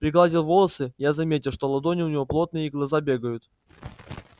пригладил волосы я заметил что ладони у него потные и глаза бегают